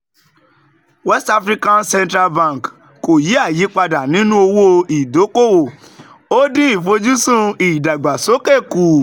west africa central bank kò yí àyípadà nínú owó ìdókòwò ó dín ìfojúsùn ìdàgbàsókè kù